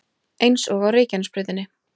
Eins og á Reykjanesbrautinni